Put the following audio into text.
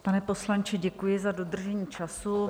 Pane poslanče, děkuji za dodržení času.